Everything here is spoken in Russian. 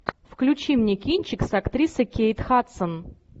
включи мне кинчик с актрисой кейт хадсон